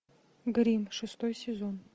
гримм шестой сезон